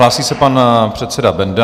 Hlásí se pan předseda Benda.